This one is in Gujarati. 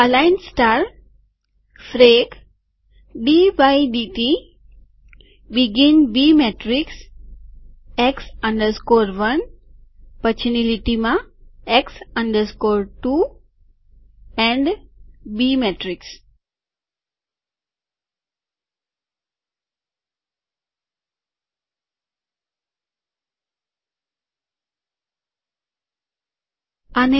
અલાઈન સ્ટારફ્રેકડી બાય ડીટીબેગીન બી શ્રેણિક x 1 પછીની લીટીમાંx 2 અને બી શ્રેણિક